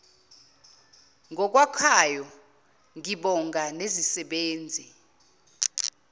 ngokwakhayo ngibonga nezisebenzi